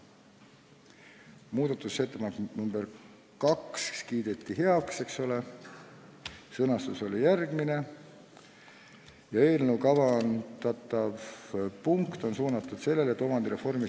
Muudatusettepanek nr 2 kiideti heaks, sõnastus oli järgmine: "Eelnõuga kavandatav ELRKS § 7 lõike 11 punkt on 8 suunatud sellele, et omandireformi ...